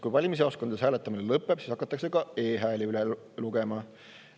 Kui valimisjaoskondades hääletamine lõpeb, siis hakatakse ka e-hääli üle lugema.